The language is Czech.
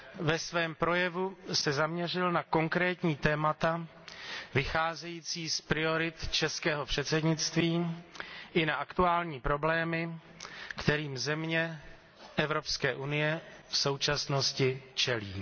Ve svém projevu se zaměřil na konkrétní témata vycházející z priorit českého předsednictví i na aktuální problémy, kterým země Evropské unie v současnosti čelí.